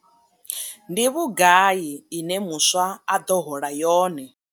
Ndi vhugai ine muswa a ḓo hola yone?